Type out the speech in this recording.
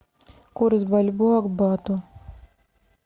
курс бальбоа к бату